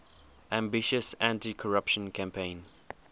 ambitious anticorruption campaign